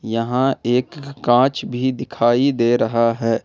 यहां एक कांच भी दिखाई दे रहा है।